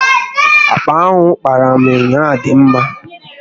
Akpa ahụ ị kpaara m ụnyaahụ dị mma